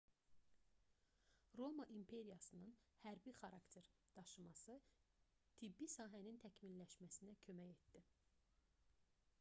roma imperiyasının hərbi xarakter daşıması tibbi sahənin təkmilləşməsinə kömək etdi